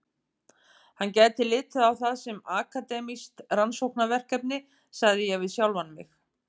Hann gæti litið á það sem akademískt rannsóknarverkefni, sagði ég við sjálfan mig.